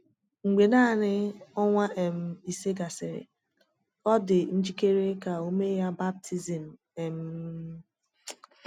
Mgbe naanị ọnwa um ise gasịrị, ọ dị njikere ka e mee ya baptizim. um